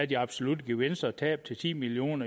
de absolutte gevinster og tab til ti million